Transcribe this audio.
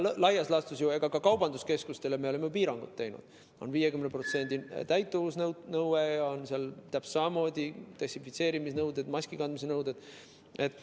Laias laastus oleme me ka kaubanduskeskustele piirangud kehtestanud, seal on 50%‑lise täituvuse nõue, seal on täpselt samamoodi desinfitseerimisnõue, maskikandmise nõue.